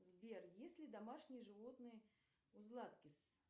сбер есть ли домашние животные у златкис